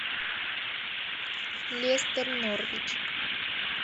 лестер норвич